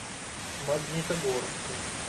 магнитогорску